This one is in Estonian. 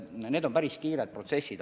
Need on päris kiired protsessid.